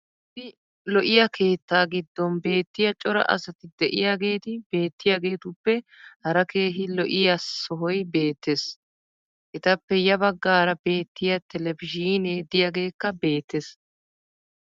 issi lo'iyaa keettaa giddon beettiya cora asati diyaageeti beettiyaageetuppe hara keehi lo'iyaa sohoy beettees. etappe ya bagaara beettiya televizhiinee diyaageekka beetees.